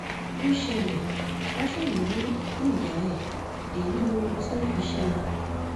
ó ṣẹlẹ̀ version hu òkú ìyá ẹ̀ èyí lóhun tó fi í ṣe